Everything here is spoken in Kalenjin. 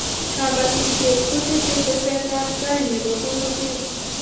kabatisiet kotesee teset ab tai ne pororiet